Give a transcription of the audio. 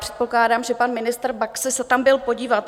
Předpokládám, že pan ministr Baxa se tam byl podívat.